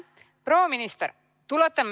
Proua minister!